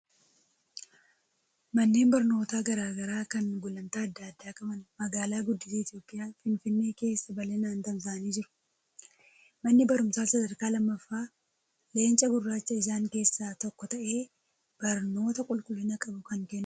Manneen barnootaa garaa garaa kan gulantaa adda addaa qaban magaalaa guddittii Itoophiyaa, Finfinnee keessa bal'inaan tamsa'anii jiru. Manni barumsaa Sadarkaa lammaaffaa Leenca Gurraachaa isaan keessaa tokko ta'ee, barnoota qulqullina qabu kan kennudha.